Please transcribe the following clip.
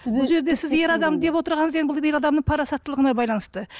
бұл жерде сіз ер адам деп отырғаныңыз енді бұл ер адамның парасаттылығына байланысты